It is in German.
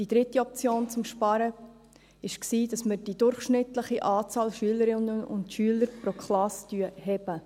Die dritte Option zum Sparen war, die durchschnittliche Anzahl Schülerinnen und Schüler pro Klasse anzuheben.